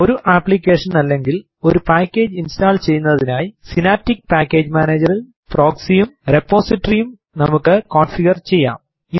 ഒരു ആപ്ലിക്കേഷൻ അല്ലെങ്ങിൽ ഒരു പാക്കേജ് ഇൻസ്റ്റാൾ ചെയുന്നതിനായി സിനാപ്റ്റിക് പാക്കേജ് മാനേജർ ൽ പ്രോക്സി യും റിപ്പോസിറ്ററി യും നമുക്ക് കോൺഫിഗർ ചെയ്യാം